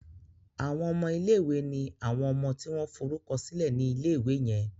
Àwon ọmọ ilé ìwé ní àwọn ọmọ tí wón forúkọsílè ní ilé ìwé yen